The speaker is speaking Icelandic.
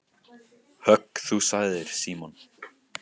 Högg þú sagði Símon.